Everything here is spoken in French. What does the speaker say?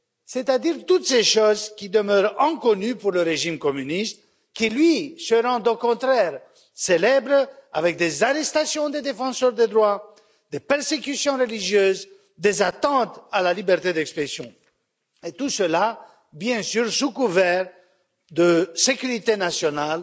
C'est à dire toutes ces choses qui demeurent inconnues pour le régime communiste, qui lui se rend au contraire célèbre avec des arrestations des défenseurs de droits, des persécutions religieuses, des atteintes à la liberté d'expression et tout cela bien sûr, sous couvert de sécurité nationale